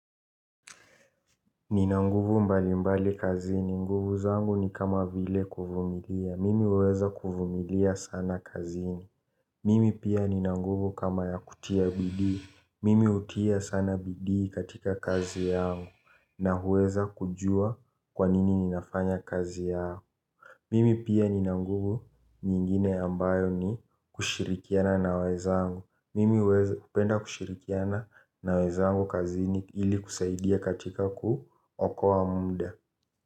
Nina nguvu mbalimbali kazini. Nguvu zangu ni kama vile kuvumilia. Mimi huweza kuvumilia sana kazini. Mimi pia ninanguvu kama ya kutia bidii. Mimi hutia sana bidii katika kazi yangu na huweza kujua kwanini ninafanya kazi yangu. Mimi pia nina nguvu nyingine ambayo ni kushirikiana na wezangu. Mimi hupenda kushirikiana na wenzangu kazini ili kusaidia katika kuokoa muda.